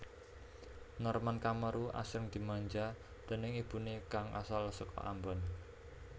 Norman Kamaru asring dimanja déning ibune kang asal saka Ambon